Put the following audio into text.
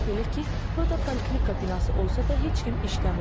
Belə ki, burda poliklinika binası olsa da heç kim işləmir.